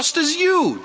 The cost is huge.